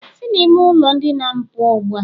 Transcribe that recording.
Si na ime ulo ndina'm puo ugbua!.